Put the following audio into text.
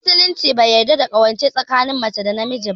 Musulunci bai yarda da ƙawance tsakinin mace da namiji ba